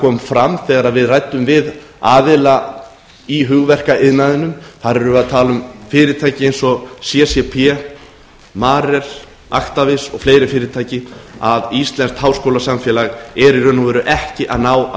kom fram þegar við ræddum við aðila í hugverkaiðnaðinum þar erum við að tala um fyrirtæki eins og ccp marel actavis og fleiri fyrirtæki að íslenskt háskólasamfélag er í raun og veru ekki ná